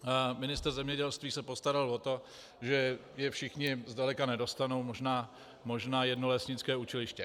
Ministr zemědělství se postaral o to, že je všichni zdaleka nedostanou, možná jedno lesnické učiliště.